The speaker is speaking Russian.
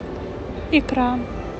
икра